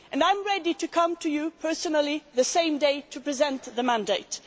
I am ready to come to you personally the same day to present the mandate.